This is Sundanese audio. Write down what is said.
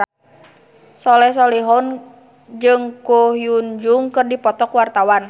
Soleh Solihun jeung Ko Hyun Jung keur dipoto ku wartawan